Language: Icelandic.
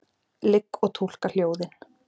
Ligg og túlka hljóðin.